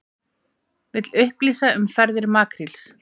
Vill upplýsingar um ferðir makríls